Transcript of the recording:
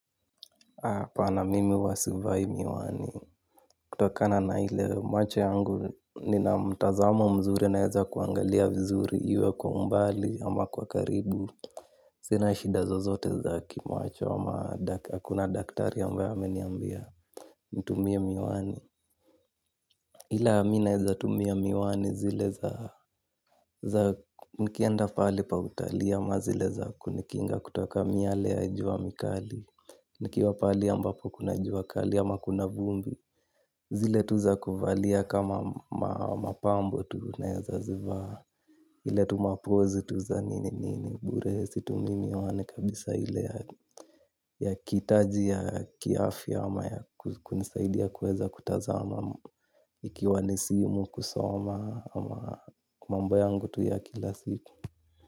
Hapana mimi huwa sivai miwani. Kutokana na ile macho yangu nina mtazamo mzuri naweza kuangalia vizuri iwe kwa umbali ama kwa karibu. Sina shida zozote za kimacho ama hakuna daktari ambaye ameniambia nitumie miwani. Ila mi naeza tumia miwani zile za nikienda pahali pa utali ama zile za kunikinga kutoka miale ya jua mikali. Nikiwa pahali ambapo kuna jua kali ama kuna vumbi zile tu za kuvalia kama mapambo tu naeza zivaa. Ila tu mapoz tu za nini nini. Bure situmii miwani kabisa ile ya kihitaji ya afya ama kunisaidia niweze kutazama. Ikiwa ni simu kusoma ama mambo yangu tu ya kila situ.